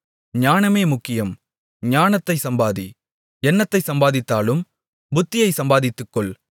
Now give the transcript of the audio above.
ஞானமே முக்கியம் ஞானத்தைச் சம்பாதி என்னத்தைச் சம்பாதித்தாலும் புத்தியைச் சம்பாதித்துக்கொள்